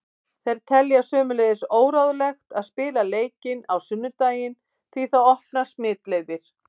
Þeir telja sömuleiðis óráðlegt að spila leikinn á sunnudaginn því það opnar smitleiðir.